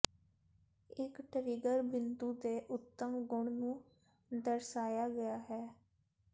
ਇੱਕ ਟਰਿਗਰ ਬਿੰਦੂ ਦੇ ਉੱਤਮ ਗੁਣ ਨੂੰ ਦਰਸਾਇਆ ਗਿਆ ਹੈ